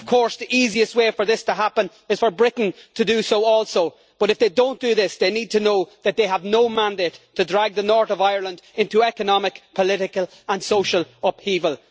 Of course, the easiest way for this to happen is for Britain to do so also, but if they do not do this they need to know that they have no mandate to drag the North of Ireland into economic, political and social upheaval.